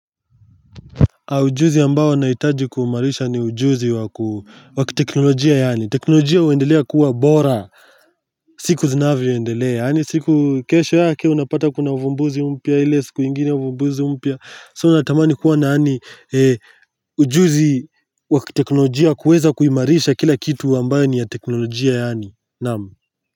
Ujuzi amabao nahitaji kuiimarisha ni ujuzi wa kiteknolojia yaani, teknolojia uendelea kuwa bora siku zinavyo endelea yaani siku kesho yake unapata kuna uvumbuzi upya ile siku ingine uvumbuzi upya so unatamani kuwa na yaani ujuzi wa kiteknoljia kuweza kuimarisha kila kitu ambayo ni ya teknolojia yaani, naam.